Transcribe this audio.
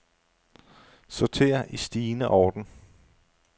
Sorter i stigende orden.